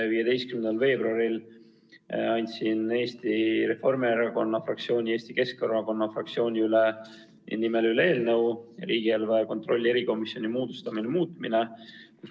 15. veebruaril andsin Eesti Reformierakonna fraktsiooni ja Eesti Keskerakonna fraktsiooni nimel üle eelnõu otsuse "Riigieelarve kontrolli erikomisjoni moodustamine" muutmise kohta.